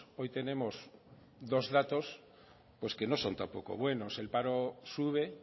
hoy tenemos dos datos pues que no son tampoco buenos el paro sube